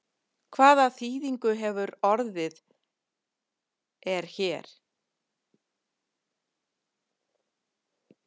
Hvað þýðingu hefur orðið er hér?